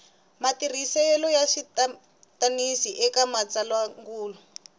matirhisele ya switwananisi eka matsalwandzungulo